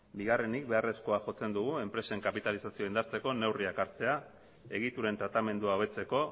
bigarrenik beharrezkoa jotzen dugu enpresen kapitalizazioa indartzeko neurriak hartzea egituren tratamendua hobetzeko